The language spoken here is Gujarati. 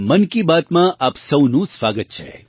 મન કી બાત માં આપ સૌનું સ્વાગત છે